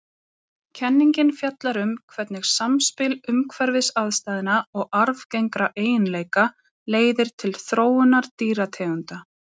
Kenningin fjallar um hvernig samspil umhverfisaðstæðna og arfgengra eiginleika leiðir til þróunar dýrategunda.